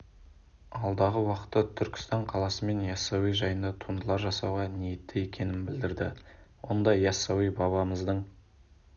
алдағы уақытта түркістан қаласы мен ясауи жайында туындылар жасауға ниетті екенін білдірді онда ясауи бабамыздың